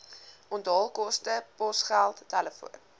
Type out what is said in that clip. onthaalkoste posgeld telefoon